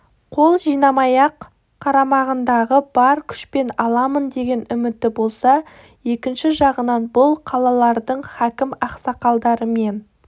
қол жинамай-ақ қарамағындағы бар күшпен аламын деген үміті болса екінші жағынан бұл қалалардың хакім ақсақалдарымен